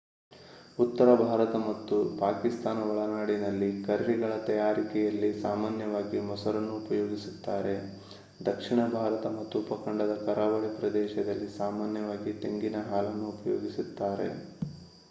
ಉತ್ತರಭಾರತ ಮತ್ತು ಪಾಕಿಸ್ತಾನದ ಒಳನಾಡಿನಲ್ಲಿ ಕರ್ರಿಗಳ ತಯಾರಿಕೆಯಲ್ಲಿ ಸಾಮಾನ್ಯವಾಗಿ ಮೊಸರನ್ನು ಉಪಯೋಗಿಸುತ್ತಾರೆ; ದಕ್ಷಿಣ ಭಾರತ ಮತ್ತು ಉಪಖಂಡದ ಕರಾವಳಿ ಪ್ರದೇಶದಲ್ಲಿ ಸಾಮಾನ್ಯವಾಗಿ ತೆಂಗಿನ ಹಾಲನ್ನು ಉಪಯೋಗಿಸುತ್ತಾರೆ